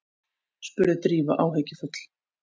spurði Drífa áhyggjufull.